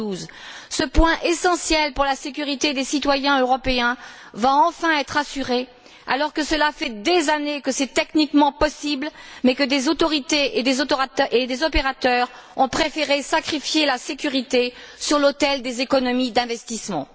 112. Ce point essentiel pour la sécurité des citoyens européens va enfin être réglé alors que cela fait des années que c'est techniquement possible mais que des autorités et des opérateurs ont préféré sacrifier la sécurité sur l'autel des économies d'investissements.